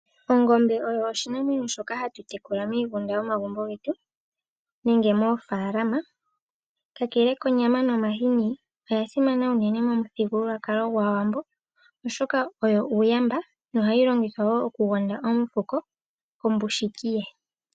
Ongombe oyo oshinamwenyo shoka hatu tekula miigunda yomagumbo getu noshowoo moofaalama . Kakele konyama nomahini ,oya simana unene momuthigululwakalo gwAawambo, oshoka oyo uuyamba nohayi longithwa okugonda omufuko kombushiki ye.